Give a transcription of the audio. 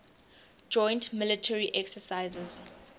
joint military exercises